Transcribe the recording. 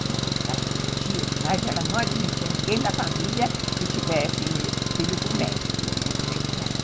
curtia demais, ela não admitia ninguém da família que tivesse filho com médico, tinha que ser com ela.